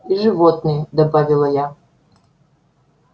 и животные добавила я